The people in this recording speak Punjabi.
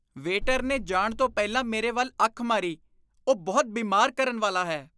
ਵੇਟਰ ਨੇ ਜਾਣ ਤੋਂ ਪਹਿਲਾਂ ਮੇਰੇ ਵੱਲ ਅੱਖ ਮਾਰੀ। ਉਹ ਬਹੁਤ ਬਿਮਾਰ ਕਰਨ ਵਾਲਾ ਹੈ।